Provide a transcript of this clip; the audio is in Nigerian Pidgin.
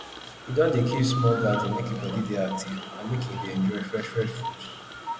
in don dey keep small garden make e body dey active and make in dey enjoy fresh fresh food